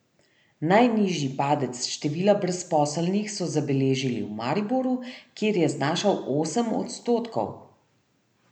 Najnižji padec števila brezposelnih so zabeležili v Mariboru, kjer je znašal osem odstotkov.